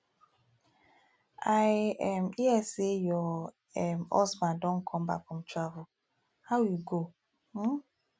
i um hear say your um husband don come back from travel how e go um